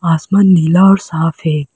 आसमान नीला और साफ है।